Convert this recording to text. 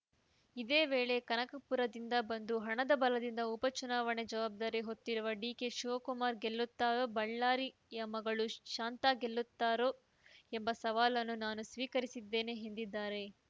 ಇದೇ ವೇಳೆ ಕನಕಪುರದಿಂದ ಬಂದು ಹಣದ ಬಲದಿಂದ ಉಪಚುನಾವಣೆ ಜವಾಬ್ದಾರಿ ಹೊತ್ತಿರುವ ಡಿಕೆಶಿವಕುಮಾರ್‌ ಗೆಲ್ಲುತ್ತಾ ಬಳ್ಳಾರಿಯ ಮಗಳು ಶಾಂತಾ ಗೆಲ್ಲುತ್ತಾರೋ ಎಂಬ ಸವಾಲನ್ನು ನಾನು ಸ್ವೀಕರಿಸಿದ್ದೇನೆ ಎಂದಿದ್ದಾರೆ